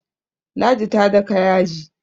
ladi ta daka yaji